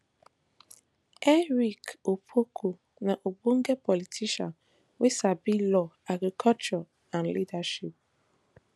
eric opoku na ogbonge politician wey sabi law agriculture and leadership